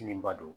Ɲiniba don